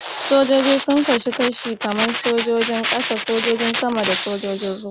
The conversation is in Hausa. Sojoji sun kasu kashi-kashi kaman su sojojin ƙasa, sojojin sama da sojojin ruwa.